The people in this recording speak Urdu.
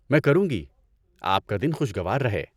میں کروں گی۔ آپ کا دن خوشگوار رہے۔